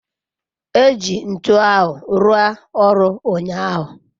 eji ntu ahu rua oru unyahu